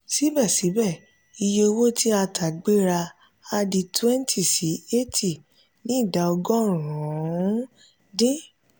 síbẹ̀síbẹ̀ iye owó tí a tà gbéra àdi twenty sí eighty ní idà ọgọ́rùn-ún dín.